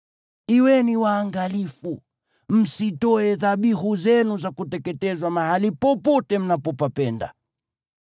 Kuweni waangalifu, msitoe dhabihu zenu za kuteketezwa mahali popote mnapopapenda.